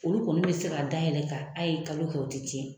Olu kɔni bɛ se ka dayɛlɛn kan a ye kalo kɛ u tɛ tiɲɛ